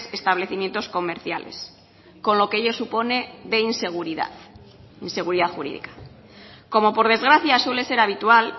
establecimientos comerciales con lo que ello supone de inseguridad jurídica como por desgracia suele ser habitual